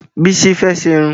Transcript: Bísí fẹ́ ṣerun